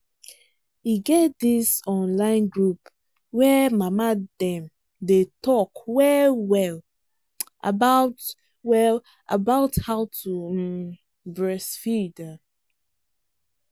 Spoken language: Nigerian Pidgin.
e get this online group where mama dem day talk well well about well about how to um breastfeed um